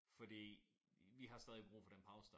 Fordi vi har stadig brug for den pause dér